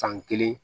San kelen